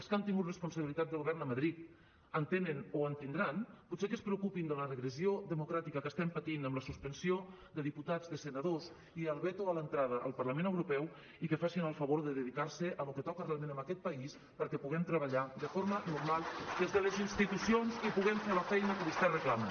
els que han tingut responsabilitats de govern a madrid en tenen o en tindran potser que es preocupin de la regressió democràtica que estem patint amb la suspensió de diputats de senadors i el veto a l’entrada al parlament europeu i que facin el favor de dedicar se a lo que toca realment en aquest país perquè puguem treballar de forma normal des de les institucions i puguem fer la feina que vostès reclamen